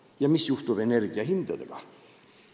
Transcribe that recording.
Ja mis juhtub energia hinnaga?